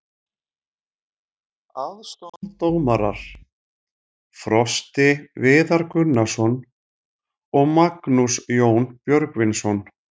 Aðstoðardómarar: Frosti Viðar Gunnarsson og Magnús Jón Björgvinsson.